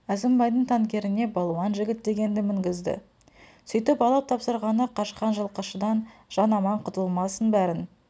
әзімбайдың танкеріне балуан жігіт дегенді мінгізді сөйтіп алып тапсырғаны қашқан жылқышыдан жан аман құтылмасын бәрін